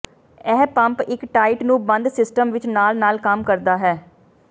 ਇਹ ਪੰਪ ਇੱਕ ਟਾਈਟ ਨੂੰ ਬੰਦ ਸਿਸਟਮ ਵਿੱਚ ਨਾਲ ਨਾਲ ਕੰਮ ਕਰਦਾ ਹੈ